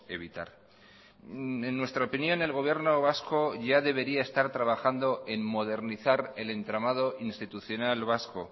evitar en nuestra opinión el gobierno vasco ya debería estar trabajando en modernizar el entramado institucional vasco